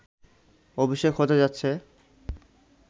অভিষেক হতে যাচ্ছে